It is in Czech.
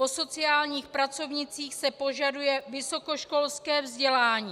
Po sociálních pracovnících se požaduje vysokoškolské vzdělání.